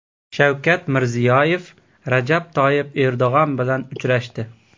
Shavkat Mirziyoyev Rajab Toyyib Erdo‘g‘on bilan uchrashdi.